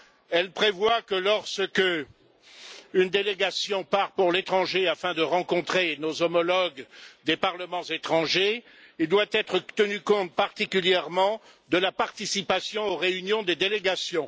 Elle prévoit que lorsqu'une délégation part pour l'étranger afin de rencontrer nos homologues des parlements étrangers, il doit être tenu compte particulièrement de la participation aux réunions des délégations.